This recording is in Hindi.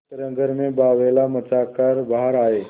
इस तरह घर में बावैला मचा कर बाहर आये